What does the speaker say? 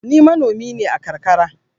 Ni manomi ne a karkara.